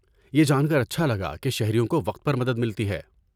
یہ جان کر اچھا لگا کہ شہریوں کو وقت پر مدد ملتی ہے۔